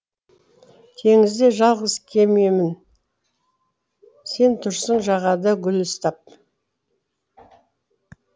теңізде жалғыз кемемін сен тұрсың жағада гүл ұстап